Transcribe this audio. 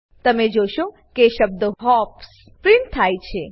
તમે જોશો કે શબ્દ હોપ્સ પ્રીંટ થાય છે